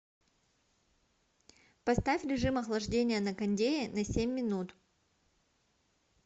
поставь режим охлаждения на кондее на семь минут